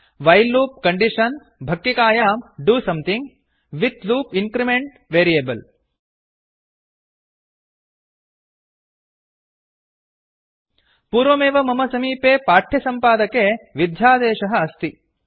while loop condition भक्किकायां do something with loop increment variable पूर्वमेव मम समीपे पाठ्यसम्पादके टेक्स्ट् एडिटर् मध्ये विध्यादेशः अस्ति